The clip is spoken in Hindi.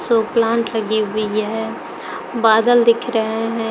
सो प्लांट लगी हुई है बादल दिख रहे हैं।